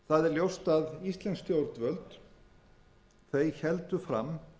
ljóst að íslensk stjórnvöld héldu fram